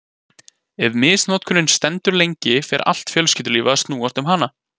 Ef misnotkunin stendur lengi fer allt fjölskyldulífið að snúast um hana.